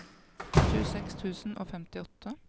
tjueseks tusen og femtiåtte